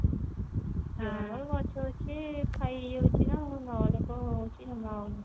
ଯଉମାନଙ୍କ ର ଗଛ ଅଛି ଖାଇ ହେଇଯାଉଛି ନା ନହେଲେ ତ